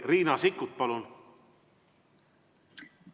Riina Sikkut, palun!